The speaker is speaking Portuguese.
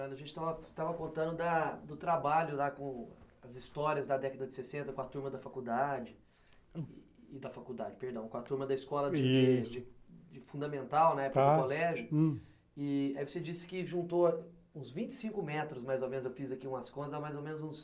A gente estava estava contando da do trabalho lá com as histórias da década de sessenta com a turma da faculdade... da faculdade, perdão, com a turma da escola de fundamental, né, na época do colégio e aí você disse que juntou uns vinte e cinco metros mais ou menos, eu fiz aqui umas coisas, mais ou menos uns